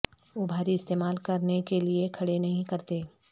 وہ بھاری استعمال کرنے کے لئے کھڑے نہیں کرتے